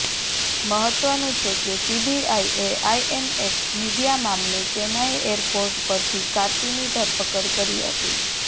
મહત્વનું છે કે સીબીઆઈએ આઈએનએક્સ મીડિયા મામલે ચેન્નાઈ એરપોર્ટ પરથી કાર્તિની ધરપકડ કરી હતી